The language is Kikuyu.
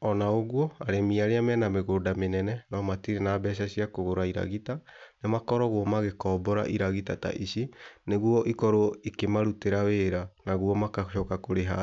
Ona ũguo arĩmi arĩa mena mĩgũnda mĩnene no matĩrĩ na mbeca cia kũgũra iragita nĩmakoragwo magĩkombora iragita ta ici nĩguo ikorwo ikĩmarutĩra wĩra nagũo magacoka kũrĩha.